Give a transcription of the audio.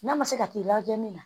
N'a ma se ka t'i lajɛ min na